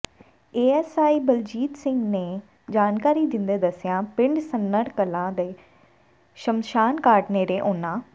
ASI Baljit Singh ਨੇ ਜਾਣਕਾਰੀ ਦਿੰਦੇ ਦੱਸਿਆ ਪਿੰਡ ਸੁੰਨੜ ਕਲਾਂ ਦੇ ਸ਼ਮਸ਼ਾਨ ਘਾਟ ਨੇੜੇ ਉਨ੍ਹਾਂ